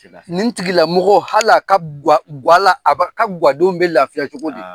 Nin tigila mɔgɔ hala ka guwa la a ka guwadenw be lafiya cogo di?